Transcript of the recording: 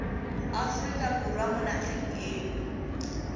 aforika borwa mo nageng eo